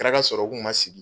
Kɛra ka sɔrɔ u k'u ma sigi.